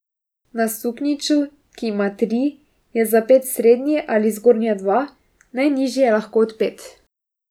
Na suknjiču, ki ima tri, je zapet srednji ali zgornja dva, najnižji je lahko odpet.